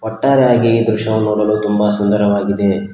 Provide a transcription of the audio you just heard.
ಒಟ್ಟಾರೆಯಾಗಿ ಈ ದೃಶ್ಯವನ್ನು ನೋಡಲು ತುಂಬಾ ಸುಂದರವಾಗಿದೆ.